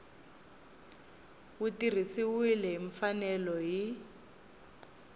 wu tirhisiwile hi mfanelo hi